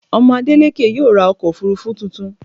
Ọmọ Adélékè yóò ra ọkọ̀-òfurufú tuntun.